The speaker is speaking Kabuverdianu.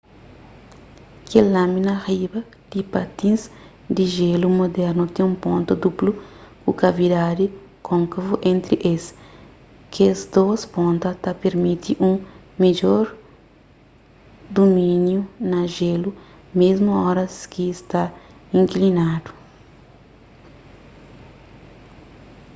kel lâmina riba di patins di jelu mudernu ten un ponta duplu ku kavidadi kônkavu entri es kes dôs ponta ta pirmiti un midjor dumíniu na jélu mésmu oras ki sta inklinadu